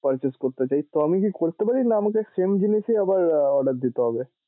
purchase করতে চাই। তো আমি কি করতে পারি না আমাকে same জিনিস ই আবার order দিতে হবে?